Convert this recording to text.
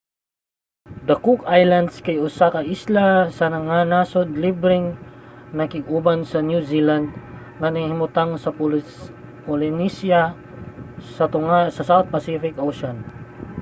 ang cook islands kay usa ka isla nga nasod nga libreng nakig-uban sa new zealand nga nahimutang sa polynesia sa tunga sa south pacific ocean